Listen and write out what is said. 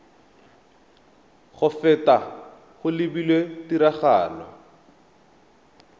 go feta go lebilwe tiragatso